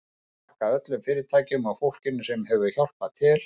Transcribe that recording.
Ég vil þakka öllum fyrirtækjunum og fólkinu sem hefur hjálpað til.